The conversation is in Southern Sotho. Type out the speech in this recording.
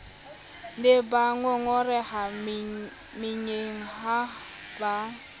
ne bangongoreha meyeng ha ba